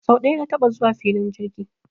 Sau ɗaya na taɓa zuwa filin jirgi